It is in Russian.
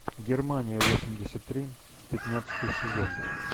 германия восемьдесят три пятнадцатый сезон